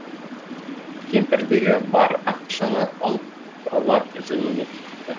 кемпірдегі бар ақшаны алып ұрылар жөніне кетіпті